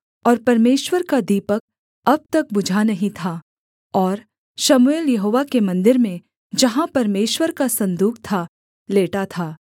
और परमेश्वर का दीपक अब तक बुझा नहीं था और शमूएल यहोवा के मन्दिर में जहाँ परमेश्वर का सन्दूक था लेटा था